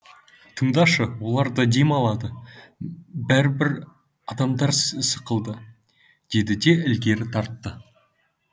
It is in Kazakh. тыңдашы олар да дем алады бәрібір адамдар сықылды деді де ілгері тартты